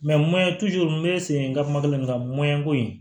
n bɛ segin n ka kuma daminɛ ko in